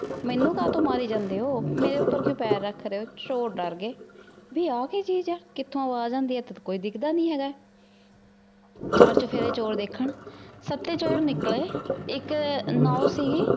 ਮੇਨੂ ਕਾਟਨ ਮਾਰੀ ਜਾਂਦੀ ਊ ਮੇਰੀ ਉਪਰ ਕਾਟਨ ਪੈਰ ਰਖ ਰਹੀ ਚੋਰ ਦਰ ਗਾਯ ਭੀ ਆ ਕੀ ਚੇਜ਼ ਆ ਕਿਥੋਂ ਅਵਾਜ਼ ਆਉਂਦੀ ਏਥੇ ਤੇ ਕੋਈ ਦਿਖਦਾ ਨਾਈ ਹੇਗਾ ਬਾਅਦ ਚ ਫੇਰ ਚੋਰ ਦੇਖਣ ਹਾਥੀ ਚੋਰ ਨਿਕਲੀ ਏਇਕ ਨਾਓ ਸੀਗੀ